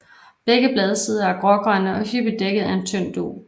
Begge bladsider er grågrønne og hyppigt dækket af en tynd dug